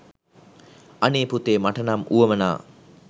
අනේ පුතේ මට නම් වුවමනා